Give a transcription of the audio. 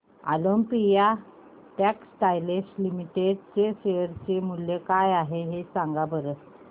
Olympia Textiles Limited चे share मूल्य काय आहे सांगा बरं